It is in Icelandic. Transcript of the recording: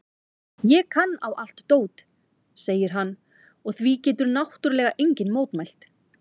Ég kann á allt dót, segir hann og því getur náttúrlega enginn mótmælt.